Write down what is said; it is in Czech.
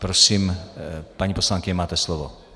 Prosím, paní poslankyně, máte slovo.